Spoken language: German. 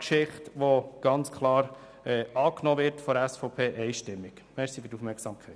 Dieser Antrag wir von der SVP einstimmig angenommen.